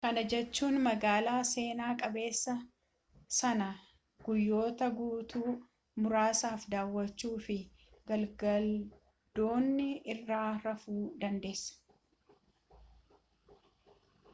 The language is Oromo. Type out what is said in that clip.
kana jechuun magaala seenaa qabeessa sana guyyoota guutuu muraasaaf daawwachuu fi galgaladoonii irraa rafuu dandeessa